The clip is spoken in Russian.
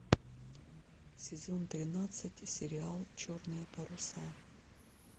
сезон тринадцать сериал черные паруса